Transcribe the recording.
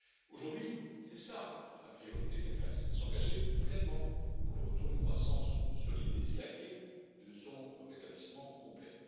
Aujourd'hui, c'est cela la priorité de la Grèce, c'est de s'engager pleinement pour le retour d'une croissance solide et c'est la clé de son rétablissement complet.